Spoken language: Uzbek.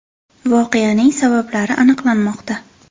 Voqeaning sabablari aniqlanmoqda.